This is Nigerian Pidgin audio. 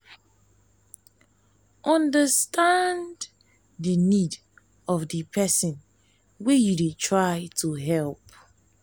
understand di need of di person wey you dey try to help